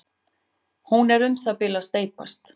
Hún er um það bil að steypast.